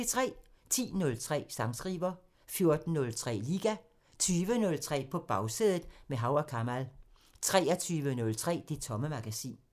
10:03: Sangskriver 14:03: Liga 20:03: På Bagsædet – med Hav & Kamal 23:03: Det Tomme Magasin